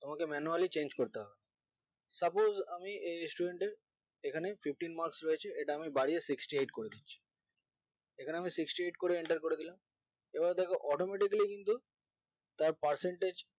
তোমাকে manually change করতে হবে suppose আমি এই student এখানে fifteen marks রয়েছে এটা আমি বাড়িয়ে sixty eight করে দিচ্ছি এখানে আমি sixty eight করে enter করে দিলাম এবার দেখো automatically কিন্ত তার percentage